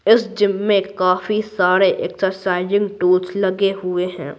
इस जिम में काफी सारे एक्सरसाइजिंग टूल्स लगे हुए हैं।